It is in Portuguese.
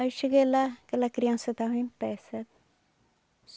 Aí cheguei lá, aquela criança estava em pé, sabe?